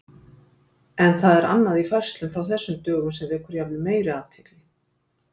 En það er annað í færslum frá þessum dögum sem vekur jafnvel meiri athygli.